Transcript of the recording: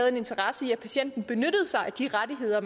en interesse i at patienterne benyttede sig af de rettigheder